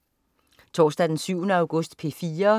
Torsdag den 7. august - P4: